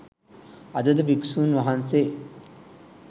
අදද භික්ෂූන් වහන්සේ